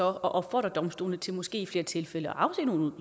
at opfordre domstolene til måske i flere tilfælde at afsige nogle